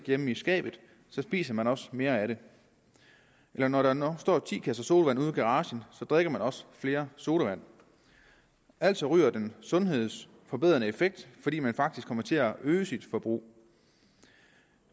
hjemme i skabet spiser man også mere af den eller når der står ti kasser sodavand ude i garagen drikker man også flere sodavand altså ryger den sundhedsforbedrende effekt fordi man faktisk kommer til at øge sit forbrug